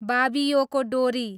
बाबियोको डोरी